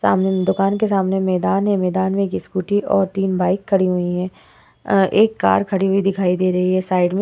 सामने में दुकान के सामने मैदान है। मैदान में एक स्कूटी और तीन बाइक खड़ी हुई हैं। अ एक कार खड़ी हुई दिखाई दे रही है साइड में।